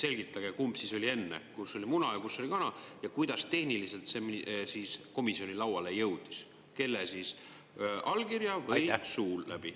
Selgitage, kumb oli enne, muna või kana, ja kuidas tehniliselt see siis komisjoni lauale jõudis, kelle allkirjaga või suu läbi.